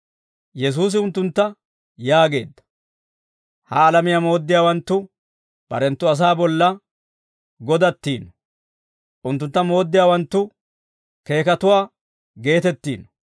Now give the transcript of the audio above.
Yesuusi unttuntta yaageedda: «Ha alamiyaa mooddiyaawanttu barenttu asaa bolla godattiino; unttuntta mooddiyaawanttu keekatuwaa geetettiino.